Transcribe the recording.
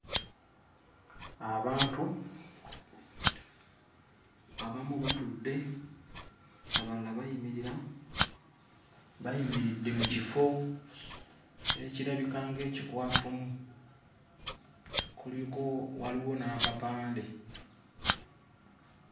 Abantu, abamu batudde, abalala bayimirira bayimiridde mu kifo ekirabika ng'ekikwafumu. Kuliko waliwo n'akapande.